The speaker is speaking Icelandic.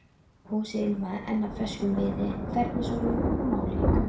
Húsið ilmaði enn af ferskum viði, fernisolíu og málningu.